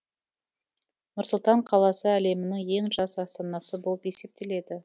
нұр сұлтан қаласы әлемнің ең жас астанасы болып есептеледі